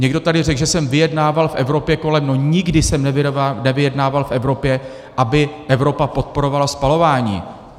Někdo tady řekl, že jsem vyjednával v Evropě kolem - no nikdy jsem nevyjednával v Evropě, aby Evropa podporovala spalování.